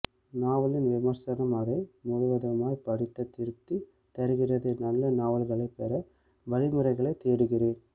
நாவலின் விமர்சனம் அதை முழுவதுமாய் படித்த திருப்தி தருகிறது நல்ல நாவல்களைப் பெற வழிமுறைகளைத் தேடுகிறேன்